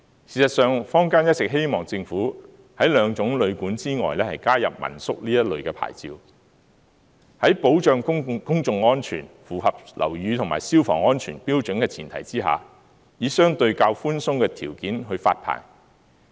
事實上，坊間一直希望政府在兩種旅館之外，加入民宿這類牌照。在保障公眾安全、符合樓宇及消防安全標準的前提下，以相對較寬鬆的條件去發牌。